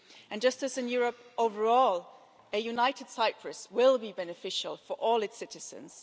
And just as in Europe overall, a united Cyprus will be beneficial for all its citizens.